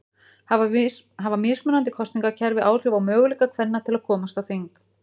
Hafa mismunandi kosningakerfi áhrif á möguleika kvenna til að komast á þing?